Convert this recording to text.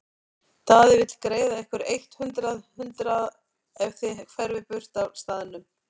Daði vill greiða ykkur eitt hundrað hundraða ef þið hverfið burt af staðnum.